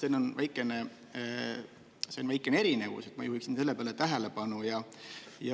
Seal on väikene erinevus, ma juhiksin sellele tähelepanu.